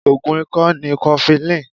Ogùn ikọ ni kofilini.